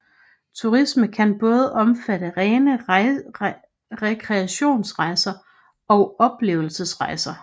Turisme kan både omfatte rene rekreationsrejser og oplevelsesrejser